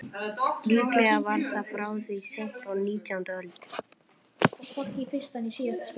Líklega var það frá því seint á nítjándu öld.